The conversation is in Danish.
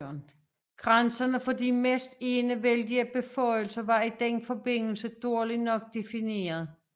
Grænserne for de næsten enevældige beføjelser var i den forbindelse dårligt nok defineret